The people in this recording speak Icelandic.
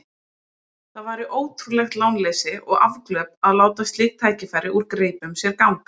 Það væri ótrúlegt lánleysi og afglöp að láta slík tækifæri úr greipum sér ganga.